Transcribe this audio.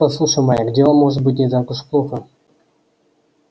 послушай майк дело может быть не так уж плохо